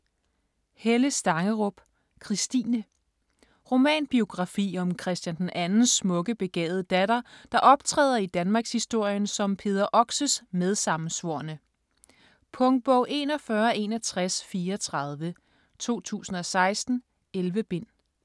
Stangerup, Helle: Christine Romanbiografi om Christian II's smukke, begavede datter, der optræder i danmarkshistorien som Peder Oxes medsammensvorne. Punktbog 416134 2016. 11 bind.